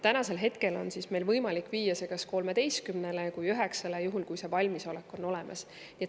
Meil on võimalik viia see kas 13%-le või 9%-le, juhul kui see valmisolek on olemas.